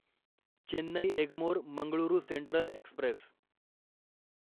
Chennai Egmore Mangalore Central Express